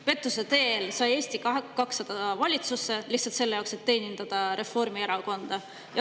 Pettuse teel sai Eesti 200 valitsusse, ja lihtsalt selle jaoks, et teenindada Reformierakonda.